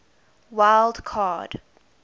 wild card